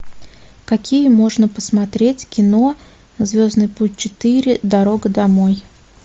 какие можно посмотреть кино звездный путь четыре дорога домой